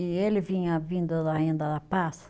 E ele vinha vindo da renda da paz.